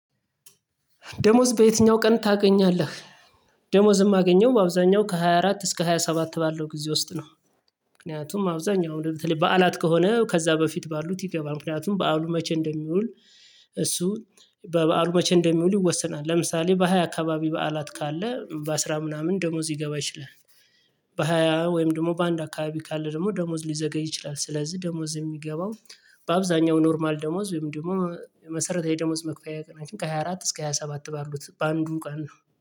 ደሞዝ በየትኛው ቀን ታገኛለህ? ደሞዝ ማገኘው በአብዛኛው ከሃያ አራት እስከ ሃያ ሰባት ባለው ጊዜ ውስጥ ነው። ምክንያቱም አብዛኛው በተለይ በዓላት ከሆነ ከዛ በፊት ባሉት ይገባል ምክንያቱም በዓሉ መቼ እንደሚውል። እሱ በበዓሉ መቼ እንደሚውል ይወሰናል። ለምሳሌ በሃያ አካባቢ በዓላት ካለ በአስራ ምናምን ደሞዝ ሊገባ ይችላል። በሃያ ወይም ደግሞ በአንድ አካባቢ ካለ ደግሞ ደሞዝ ሊዘገይ ይችላል። ስለዚህ ደሞዝ የሚገባው በአብዛኛው ኖርማል ደሞዝ ወይም ደግሞ መሰረታዊ የደሞዝ መክፈያ ቀናችን ከሃያ አራት እስከ ሃያ ሰባት ባሉት በአንዱ ቀን ነው